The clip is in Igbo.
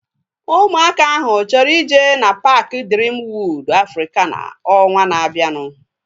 Ụmụaka ahu chọrọ ije na paaki Driim Wọod Afrikana ọnwaa na-abianu